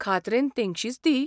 खात्रेन तेंगशीच ती.